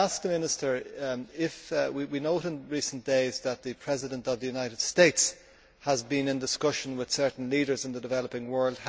Minister, we have noted in recent days that the President of the United States has been in discussions with certain leaders in the developing world.